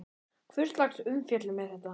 Hvurslags umfjöllun er þetta?